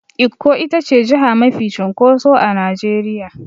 Ikko itace jiha mafi cunkoso a Nigeria.